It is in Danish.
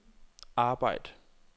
arbejd